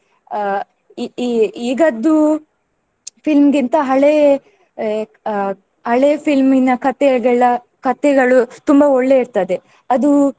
ಅಹ್ ಇ~ ಇ~ ಈಗದ್ದು film ಗಿಂತ ಹಳೇ ಎ~ ಅ~ ಹಳೇ film ನ ಕಥೆಗಳ ಕಥೆಗಳು ತುಂಬಾ ಒಳ್ಳೆ ಇರ್ತದೆ ಅದು.